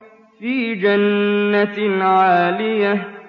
فِي جَنَّةٍ عَالِيَةٍ